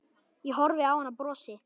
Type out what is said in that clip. Ég horfi á hann og brosi.